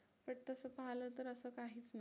but तसं पाहलं तर असं काहीच नसतं.